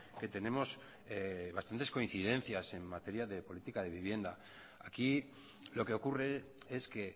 que tenemos bastantes coincidencias en materia de política de vivienda aquí lo que ocurre es que